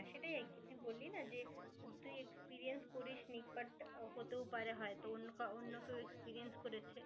সেটাই আর কি তুই বললি না যে তুই experience করিসনি but হতেও পারে হ্যা